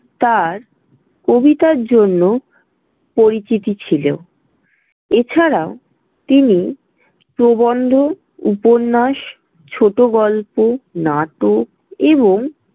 তাঁর কবিতার জন্য পরিচিতি ছিল। এছাড়াও তিনি প্রবন্ধ, উপন্যাস, ছোটগল্প, নাটক এবং।